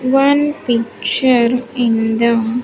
One picture in the--